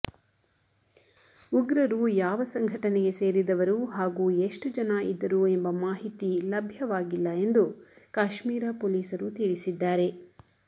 ಉಗ್ರರು ಯಾವ ಸಂಘಟನೆಗೆ ಸೇರಿದವರು ಹಾಗೂ ಎಷ್ಟು ಜನ ಇದ್ದರು ಎಂಬ ಮಾಹಿತಿ ಲಭ್ಯವಾಗಿಲ್ಲ ಎಂದು ಕಾಶ್ಮೀರ ಪೊಲೀಸರು ತಿಳಿಸಿದ್ದಾರೆ